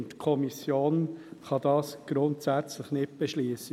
Die Kommission kann dies grundsätzlich nicht beschliessen.